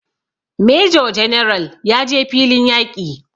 Major general ya je filin yaƙi